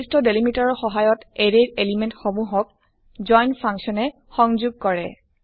নিৰ্দস্ট delimiter ৰ সহায়ত array ৰ এলিমেন্ট সমুহক জইন ফাংচন এ সংযোগ কৰে